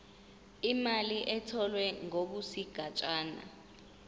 imali etholwe ngokwesigatshana